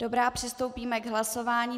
Dobrá, přistoupíme k hlasování.